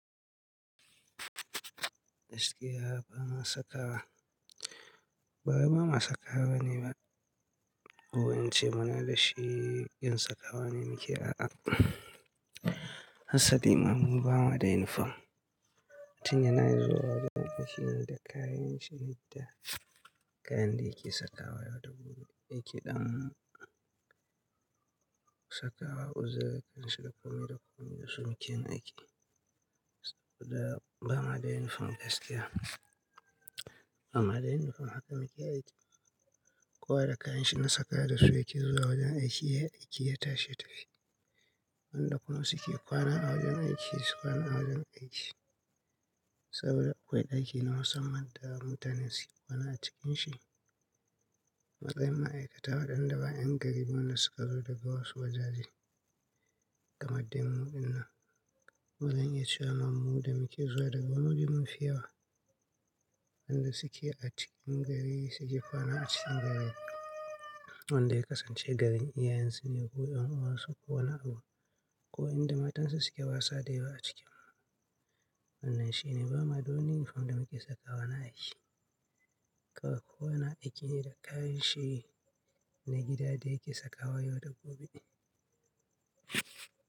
Gaskiya ba ma sakawa, bawai ba ma sakawa ne ba. Ko in ce muna da shi, yin sakawa ne muke a'a. Hassan lima mu bamu da inifom. Mutum yana zuwa wajen aiki ne da kayanshi, da kayan da yake sakawa yau da gobe. Yaki ɗan sakawa uzar kansa da kome da kome da suke mukeyin aiki. Saboda bamu da inifom gaskiya. Ba mu da inifom haka muke aiki. Kowa da kayanshi na sakawa da su yake zuwa wajen aiki, ya aiki ya tashi ya tafi. Wanda kuma suke kwana a wajen aiki su kwana a wajen aiki. Saboda akwai ɗaki na musamman da mutane suke kwana a cikin shi. Matsayi ma'aikata waɗanda ba ƴan garin mu ne da suka zo daga wasu wajaje. Kamaddainmu ɗinnan, wa zai iya cewa mammu da muke zuwa daga wani waje mu fi yawa. Wanda suke a cikin gari suke kwana a cikin gari. Wanda ya kasance garin iyayen su ne ko ƴan uwansu suna kowani a abun ko in da matan su suke wasa da yau a cikin mu. Wannan shine bamu da wani inifom da muke sakawa na aiki. Kowa kowana aiki ne da kayanshi na gida da yake sakawa yau da gobe.